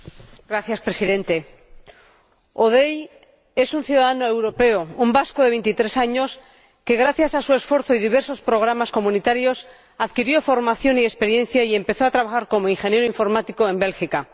Señor Presidente, Hodei es un ciudadano europeo, un vasco de 23 años, que, gracias a su esfuerzo y a diversos programas comunitarios, adquirió formación y experiencia y empezó a trabajar como ingeniero informático en Bélgica.